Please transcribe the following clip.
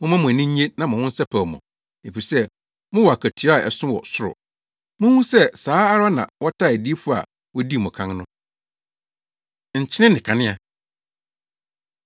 Momma mo ani nnye na monsɛpɛw mo ho, efisɛ mowɔ akatua a ɛso wɔ ɔsoro. Munhu sɛ saa ara na wɔtaa adiyifo a wodii mo kan no.” Nkyene Ne Kanea